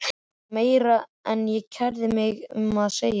Þetta var meira en ég kærði mig um að segja.